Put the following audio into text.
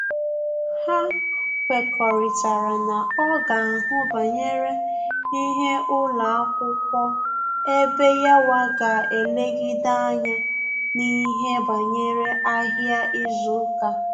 Ha kwekọrịtara na ọ ga ahụ banyere ihe ụlọakwụkwọ ebe yawa ga elegide anya n'ihe banyere ahịa izu uka